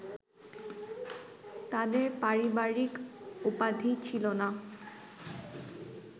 তাদের পারিবারিক উপাধি ছিল না